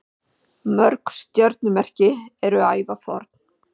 Mörg stjörnumerki eru ævaforn.